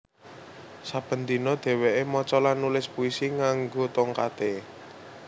Saben dina dheweké maca lan nulis puisi nganggo tongkaté